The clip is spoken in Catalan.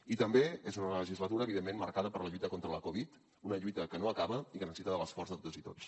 i també és una legislatura evidentment marcada per la lluita contra la covid una lluita que no acaba i que necessita l’esforç de totes i tots